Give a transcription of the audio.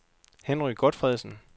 Henry Gotfredsen